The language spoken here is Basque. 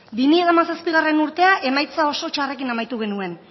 bi mila hamazazpigarrena urtea emaitza oso txarrekin amaitu genuen